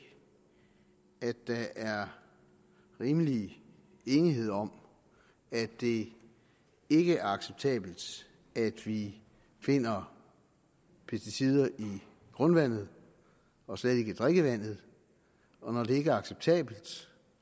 at der er rimelig enighed om at det ikke er acceptabelt at vi finder pesticider i grundvandet og slet ikke i drikkevandet og når det ikke er acceptabelt